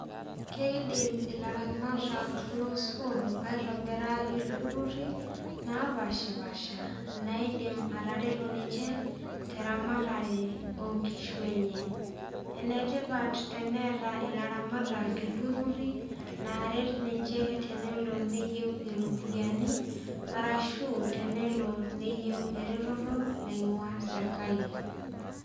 Keidim ilaramatak losuam aitobira ilturruri napashipasha naidim atareto ninche teramatare onkishu enye enetipat teneeta ilaramatak ilturruri naaret ninche tenelo neyieu eropyiani arashu tenelo neyieu ereteto naing'ua serkali.